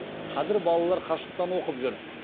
қазір балалар қашықтан оқып жүр